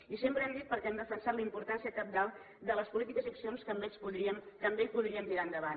i sempre hem dit perquè hem defensat la importància cabdal de les polítiques i accions que amb ell podríem tirar endavant